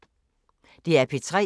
DR P3